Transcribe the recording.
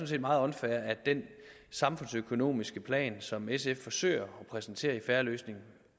set meget unfair at den samfundsøkonomiske plan som sf forsøger at præsentere i en fair løsning